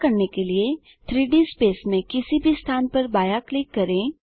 ऐसा करने के लिए 3Dस्पेस में किसी भी स्थान पर बायाँ क्लिक करें